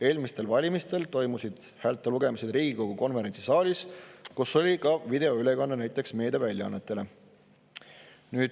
Eelmistel valimistel toimusid häälte lugemised Riigikogu konverentsisaalis, kust tehti ka videoülekanne meediaväljaannetele.